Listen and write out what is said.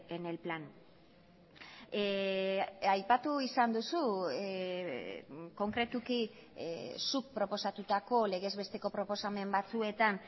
en el plan aipatu izan duzu konkretuki zuk proposatutako legez besteko proposamen batzuetan